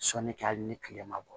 Sɔni kɛ hali ni tile ma bɔ